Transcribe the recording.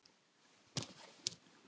Og ekki bara þeir.